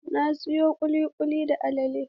Na sayi kulikuli da alale.